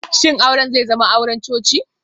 Shin auren zai zama auren coci?